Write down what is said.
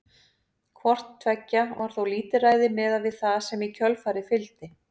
Hvort tveggja var þó lítilræði miðað við það sem í kjölfarið fylgdi.